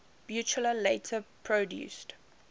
buchla later produced